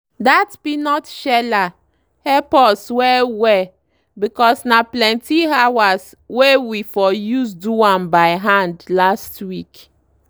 dat peanut sheller help us well well because na plenty hours wey we for use do am by hand last week.